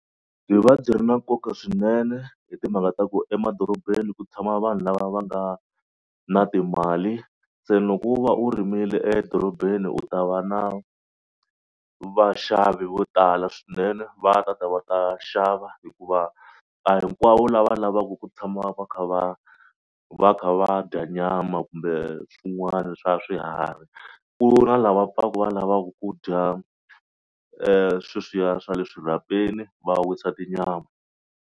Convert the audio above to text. Byi va byi ri na nkoka swinene hi timhaka ta ku emadorobeni ku tshama vanhu lava va nga na timali se loko u va u rimile edorobeni u ta va na vaxavi vo tala swinene. Va ta ta va ta xava hikuva a hinkwavo lava lavaku ku tshama va kha va va kha va dya nyama kumbe swin'wana swa swiharhi ku na lava va pfaku va lavaku ku dya sweswiya swa le swirhapeni va wisa tinyama.